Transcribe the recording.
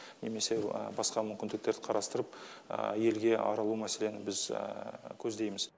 немесе басқа мүмкіндіктерді қарастырып елге арылу мәселені біз көздейміз